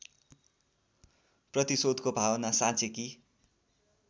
प्रतिशोधको भावना साँचेकी